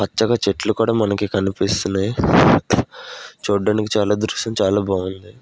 పచ్చగా చెట్లు కూడా మనకి కనిపిస్తున్నాయి చూడడానికి చాలా దృశ్యం చాలా బాగుంది.